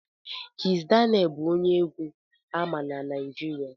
Kizz Daniel bụkwa onye egwu ama na Naijiria